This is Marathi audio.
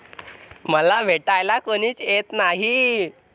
मला भेटायला कोणीच येत नाही.